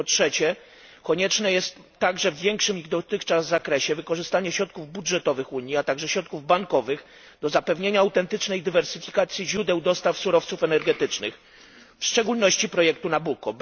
Wreszcie po trzecie, konieczne jest także, w większym niż dotychczas zakresie, wykorzystanie środków budżetowych Unii, a także środków bankowych do zapewnienia autentycznej dywersyfikacji źródeł dostaw surowców energetycznych, w szczególności projektu Nabucco.